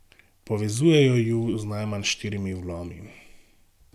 Povezujejo ju z najmanj štirimi vlomi.